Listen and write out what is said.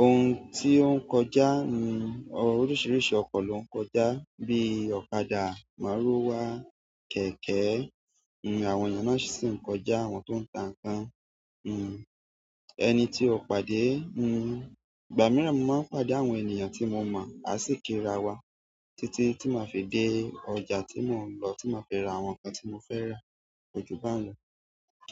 ohun tí o ń kọjá, oríṣiríṣi ọkọ̀ ni o kọjá bíi ọ̀kadà, márúwá, kẹ̀kẹ́. Nn, àwọn ènìyàn náà sì ń kọjá, àwọn tó ń ta nǹkan. Nn, ẹni tí o pàdé, nn, ìgbà mìíràn mo máa ń pàdé àwọn ènìyàn tí mo mọ̀, a sì kí ara wa títí tí màá fi dé ọjà tí mò ń lọ, tí màá fi ra àwọn nǹkan tí mò ń fẹ́ rà kò jù báhun ló.